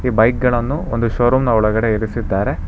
Bike ಗಳನ್ನು ಒಂದು showroom ನ ಒಳಗಡೆ ಇರಿಸಿದ್ದಾರೆ.